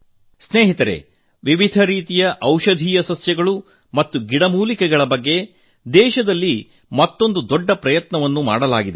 ಮಿತ್ರರೇ ನಾನಾ ರೀತಿಯ ಔಷಧೀಯ ಸಸ್ಯಗಳು ಮತ್ತು ಗಿಡಮೂಲಿಕೆಗಳ ಬಗ್ಗೆ ದೇಶದಲ್ಲಿ ಮತ್ತೊಂದು ದೊಡ್ಡ ಪ್ರಯತ್ನ ನಡೆದಿದೆ